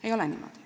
Ei ole niimoodi.